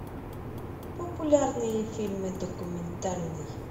популярные фильмы документальный